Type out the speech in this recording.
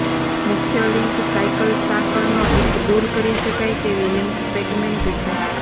મુખ્ય link cycle સાંકળનો એક દૂર કરી શકાય તેવી લિંક સેગમેન્ટ છે